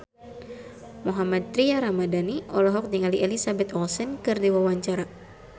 Mohammad Tria Ramadhani olohok ningali Elizabeth Olsen keur diwawancara